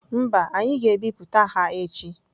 Mba, anyị ga-ebipụta ha echi.